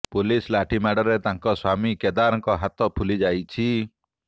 police ଲାଠି ମାଡରେ ତାଙ୍କ ସ୍ୱାମୀ କେଦାରଙ୍କ ହାତ ଫୁଲି ଯାଇଛି